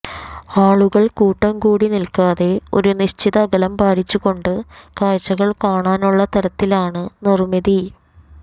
ആളുകൾ കൂട്ടം കൂടി നിൽക്കാതെ ഒരു നിശ്ചിത അകലം പാലിച്ചുകൊണ്ട് കാഴ്ചകൾ കാണാനുള്ള തരത്തിലാണ് നിർമിതി